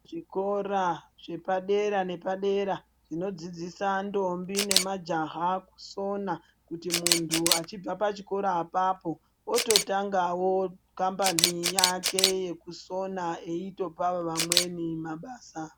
Zvikora zvepadera nepadera zvinodzidzisa ndombi nemajaya kusona kuti muntu achibva pachikora apapo ototangawo kambani yake yekusona eyitopawo vamweni mabasa.